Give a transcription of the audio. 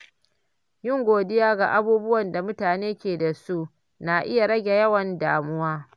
Yin godiya ga abubuwan da mutum ke da su na iya rage yawan damuwa.